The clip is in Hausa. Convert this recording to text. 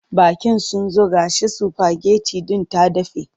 Baƙin sun zo ga shi sifageti din ta dafe.